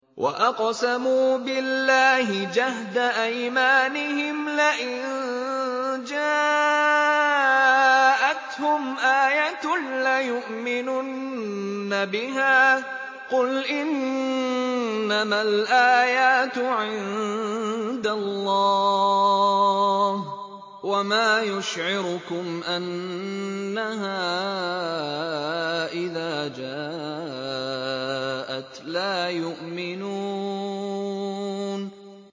وَأَقْسَمُوا بِاللَّهِ جَهْدَ أَيْمَانِهِمْ لَئِن جَاءَتْهُمْ آيَةٌ لَّيُؤْمِنُنَّ بِهَا ۚ قُلْ إِنَّمَا الْآيَاتُ عِندَ اللَّهِ ۖ وَمَا يُشْعِرُكُمْ أَنَّهَا إِذَا جَاءَتْ لَا يُؤْمِنُونَ